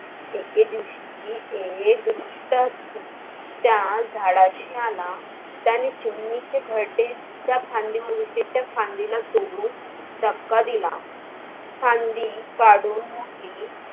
एके दिवशी एक त्या झाडाशि आला त्याने चिमणीचे घरटे ज्या फांदीवर होते त्या फांदीला तोडून धक्का दिला, फांदी काढून मुडली